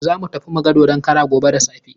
Za mu tafi mu ga dodon karan gobe da safe.